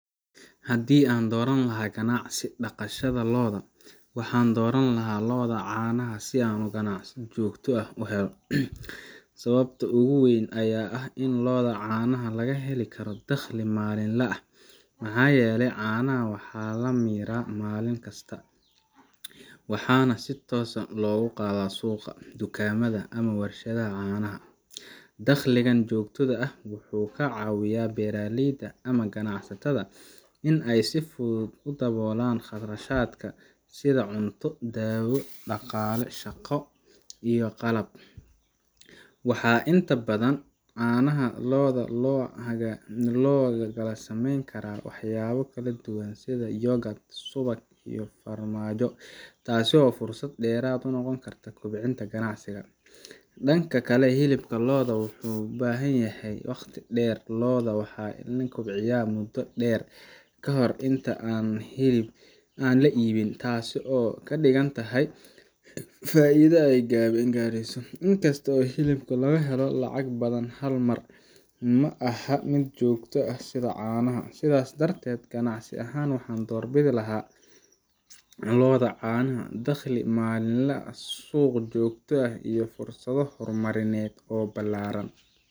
Haddii aan dooran lahaa ganacsi dhaqashada lo’da, waxaan dooran lahaa lo’da caanaha si aan ganacsi joogto ah u helo. Sababta ugu weyn ayaa ah in lo’da caanaha la heli karo dakhli maalinle ah, maxaa yeelay caanaha waxaa la miiraa maalin kasta, waxaana si toos ah loogu gadaa suuqa, dukaamada, ama warshadaha caanaha. Dakhligan joogtada ah wuxuu ka caawinayaa beeraleyda ama ganacsatada in ay si fudud u daboolaan kharashaadka sida cunto, daawo, shaqaale, iyo qalab. Waxaa intaa dheer, caanaha lo’da waxaa laga samayn karaa waxyaabo kala duwan sida yogurt, subag iyo farmaajo, taasoo fursad dheeraad ah u noqota kobcinta ganacsiga. Dhanka kale, hilibka lo’da wuxuu u baahan yahay waqti dheer lo’da waa in la kobciyaa muddo dheer ka hor inta aan la iibin, taas oo ka dhigan in faa’iidada ay gaabiso. Inkasta oo hilibka laga helo lacag badan hal mar, ma aha mid joogto ah sida caanaha. Sidaas darteed, ganacsi ahaan, waxaan doorbidi lahaa lo’da caanaha dakhli maalinle ah, suuq joogto ah, iyo fursado horumarineed oo ballaaran.